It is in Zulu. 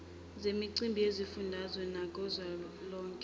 zemicimbi yezifundazwe nekazwelonke